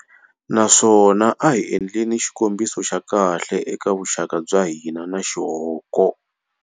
Naswona a hi endleni xikombiso xa kahle eka vuxaka bya hina na xihoko.